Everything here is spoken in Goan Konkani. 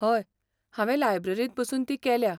हय, हांवें लायब्ररींत बसून ती केल्या.